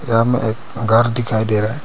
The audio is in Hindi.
सामने एक घर दिखाई दे रहा--